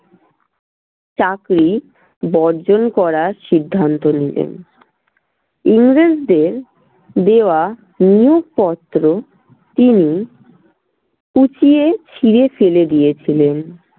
চাকরি বর্জন করার সিদ্ধান্ত নিলেন। ইংরেজদের দেওয়া নিয়োগপত্র তিনি কুঁচিয়ে ছিড়ে ফেলেদিয়েছিলেন।